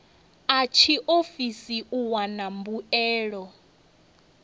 a tshiofisi u wana mbuelo